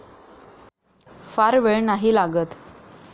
फार वेळ नाही लागत.